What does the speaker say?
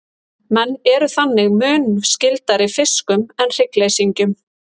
menn eru þannig mun skyldari fiskum en hryggleysingjum